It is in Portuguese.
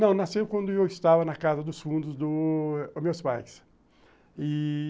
Não, nasceu quando eu estava na casa dos fundos dos meus pais e...